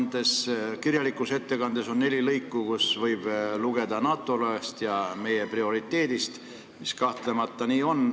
Teie kirjalikus ettekandes on neli lõiku, kust võib lugeda NATO liikmesusest kui meie prioriteedist, mis kahtlemata nii on.